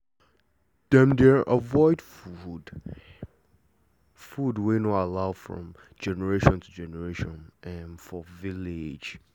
dem dey avoid food wey no allow from generation to generation for village